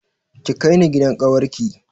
Ki kai ni gidan ƙawar ki